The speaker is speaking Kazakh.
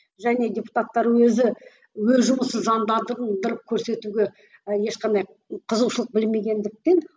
және депутаттар өзі өз жұмысын заңдандырып көрсетуге ешқандай қызығушылық бермегендіктен